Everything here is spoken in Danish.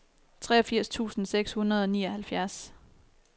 treogfirs tusind seks hundrede og nioghalvfjerds